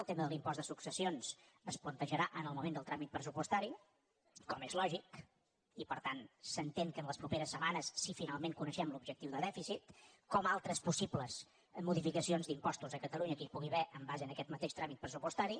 el tema de l’impost de successions es plantejarà en el moment del tràmit pressupostari com és lògic i per tant s’entén que les properes setmanes si finalment coneixem l’objectiu de dèficit com altres possibles modificacions d’impostos a catalunya que hi pugui haver en base a aquest mateix tràmit pressupostari